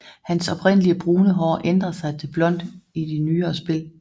Hans oprindelige brune hår ændrer sig til blond i de nyere spil